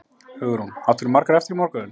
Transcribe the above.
Hugrún: Áttirðu margar eftir í morgun?